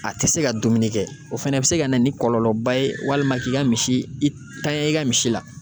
A tɛ se ka dumuni kɛ o fana bi se ka na ni kɔlɔlɔba ye walima k'i ka misi i tanɲan i ka misi la